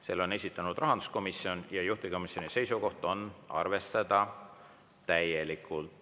Selle on esitanud rahanduskomisjon ja juhtivkomisjoni seisukoht on arvestada täielikult.